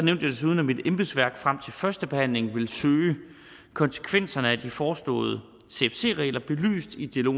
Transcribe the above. jeg desuden at mit embedsværk frem til førstebehandlingen vil søge konsekvenserne af de foreslåede cfc regler belyst i dialog